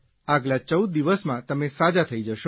આગલા ૧૪ દિવસમાં તમે સાજા થઇ જશો